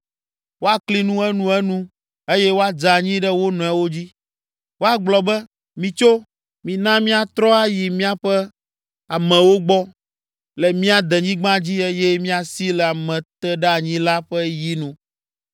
Woakli nu enuenu eye woadze anyi ɖe wo nɔewo dzi. Woagblɔ be, ‘Mitso, mina míatrɔ ayi míaƒe amewo gbɔ, le mía denyigba dzi eye míasi le ameteɖeanyila ƒe yi nu.’